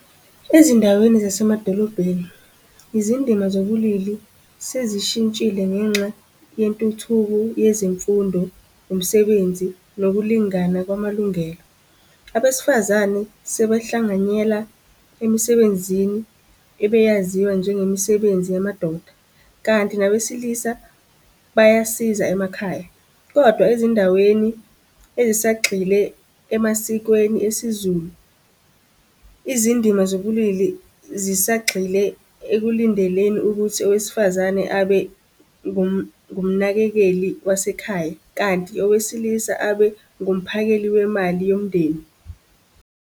Ezindaweni zasemadolobheni, izindima zobulili sesishintshile ngenxa yentuthuko yezemfundo, umsebenzi nokulingana kwamalungelo. Abesifazane sebehlanganyela emisebenzini, ebeyaziwa njengemisebenzi yamadoda, kanti nabesilisa bayasiza emakhaya. Kodwa ezindaweni ezisagxile emasikweni esiZulu. Izindima zobulili zisagxile ekulindeleni ukuthi owesifazane abe ngumnakekeli wasekhaya, kanti owesilisa abe ngumphakeli wemali yomndeni.